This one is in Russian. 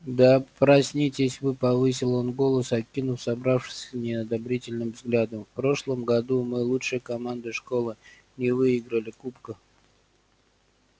да проснитесь вы повысил он голос окинув собравшихся неодобрительным взглядом в прошлом году мы лучшая команда школы не выиграли кубка